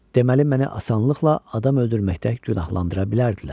Deməli məni asanlıqla adam öldürməkdə günahlandıra bilərdilər.